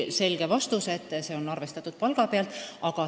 Selge vastus on, et see on arvestatud palga pealt.